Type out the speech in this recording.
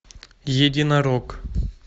единорог